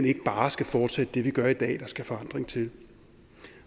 ikke bare skal fortsætte det vi gør i dag der skal forandring til